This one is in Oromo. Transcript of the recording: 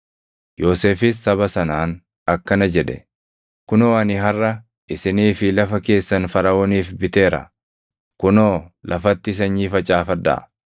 Yoosefis saba sanaan akkana jedhe; “Kunoo ani harʼa isinii fi lafa keessan Faraʼooniif biteera. Kunoo lafatti sanyii facaafadhaa.